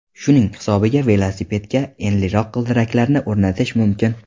Shuning hisobiga velosipedga enliroq g‘ildiraklarni o‘rnatish mumkin.